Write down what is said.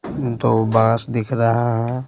दो बांस दिख रहा है।